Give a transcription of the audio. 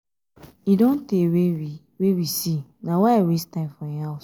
e don tey wey we wey we see na why i waste time for im house